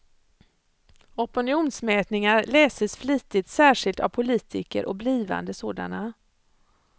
Opinionsmätningar läses flitigt, särskilt av politiker och blivande sådana.